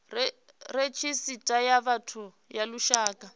redzhisita ya vhathu ya lushaka